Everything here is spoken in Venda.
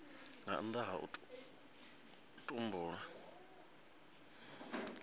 nga nnda ha u tumbulwa